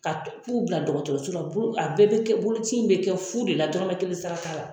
Ka u bila dɔgɔtɔrɔso la bo a bɛɛ bɛ kɛ boloci in bɛ kɛ fu de la dɔrɔmɛ kelen sara t'a la.